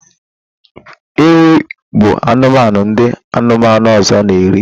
Ewi bu anumanu ndi anumanu ozor na eri